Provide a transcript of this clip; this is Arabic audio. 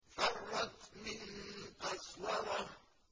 فَرَّتْ مِن قَسْوَرَةٍ